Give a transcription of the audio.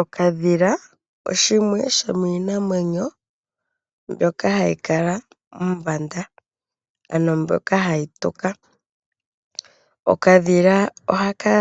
Okadhila shimwe shomiikwamawawa mbyoka hayi kala mombanda ano hayi tuka. Oha ka